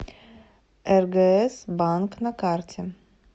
ргс банк на карте